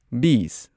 ꯕꯤꯁ